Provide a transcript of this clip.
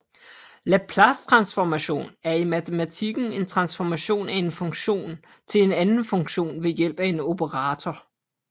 Laplacetransformation er i matematikken en transformation af en funktion til en anden funktion ved hjælp af en operator